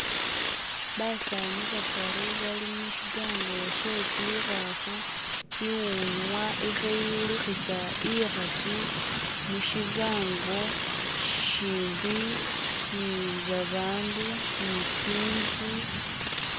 Basani bataru bali mushigango she tsikhafu, iwunwa ili khayilukhisa ikhasi mushigango shimbi ni babandu ni tsinzu.